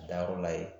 Dayɔrɔ la yen